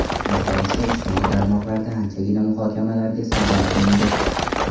Bu hodisa ijtimoiy tarmoqlarda anchagina muhokamalarga sabab bo‘ldi.